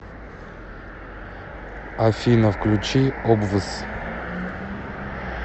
афина включи обвс